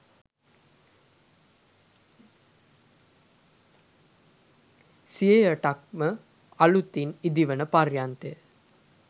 සියයටක් ම අලුතින් ඉදිවන පර්යන්තය